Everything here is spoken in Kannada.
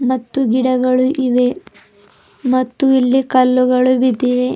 ಮತ್ತು ಗಿಡಗಳು ಇವೆ ಮತ್ತು ಇಲ್ಲಿ ಕಲ್ಲುಗಳು ಬಿದಿವೆ.